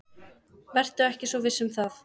Vertu ekki svo viss um það.